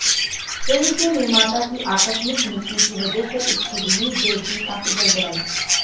film के निर्माता की आकस्मिक मृत्यु की वजह से इसकी रिलीज डेट भी काफी गड़बड़ायी